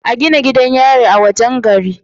A Gina gidan yari a wajan gari